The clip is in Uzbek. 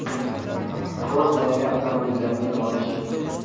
Ford yangi avtomobillarni namoyish etdi.